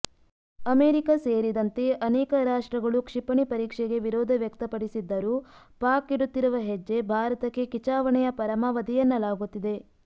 America ಸೇರಿದಂತೆ ಅನೇಕ ರಾಷ್ಟ್ರಗಳು ಕ್ಷಿಪಣಿ ಪರೀಕ್ಷೆಗೆ ವಿರೋಧ ವ್ಯಕ್ತಪಡಿಸಿದ್ದರೂ ಪಾಕ್ ಇಡುತ್ತಿರುವ ಹೆಜ್ಜೆ ಭಾರತಕ್ಕೆ ಕಿಚಾವಣೆಯ ಪರಮಾವಧಿ ಎನ್ನಲಾಗುತ್ತಿದೆ